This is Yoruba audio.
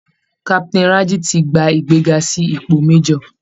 Captain Rájí ti gba ìgbéga sí ipò major